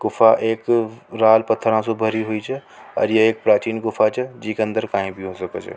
गुफा एक रार पत्थर से भरी छ और ये प्राचीन गुफा छ जीका अंदर कई भी हो सक छ।